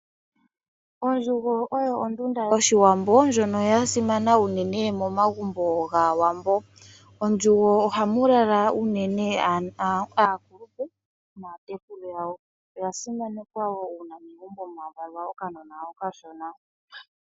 Ondjugo oyo ondunda yoshiwambo ndjoka yasimana unene momagumbo gaawambo. Mondjugo ohamu lala unene ano aakulupe naatekulu yawo, oyasimanekwa wo una megumbo mwavalwa okanona okashona.